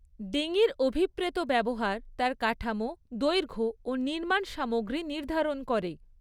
ডিঙির অভিপ্রেত ব্যবহার তার কাঠামো, দৈর্ঘ্য ও নির্মাণ সামগ্রী নির্ধারণ করে।